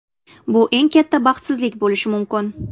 Bu eng katta baxtsizlik bo‘lishi mumkin.